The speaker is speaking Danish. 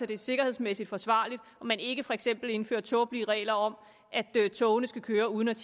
det er sikkerhedsmæssigt forsvarligt og man ikke for eksempel indfører tåbelige regler om at togene skal køre uden at